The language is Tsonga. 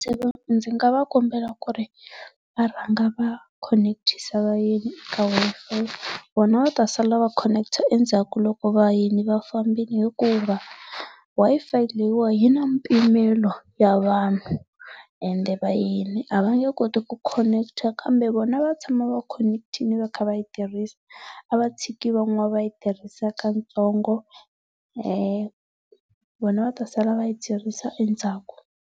ndzi nga va kombela ku ri va rhanga va khoneketisa vayeni ka Wi-Fi, vona va ta sala va khoneketa endzhaku loko vayeni va vambile hikuva Wi-Fi leyi wa yi na mpimelo ya vanhu ende vayeni a va nge koti ku khoneketa kambe vona va tshama va khoneketile va kha va yi tirhisa, a va tshiki van'wana va yi tirhisa katsongo vona va ta sala va yi tirhisa endzhaku.